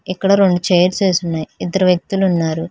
ఇక్కడ రొండు చైర్స్ వేసి ఉన్నాయి ఇద్దరు వ్యక్తులు ఉన్నారు.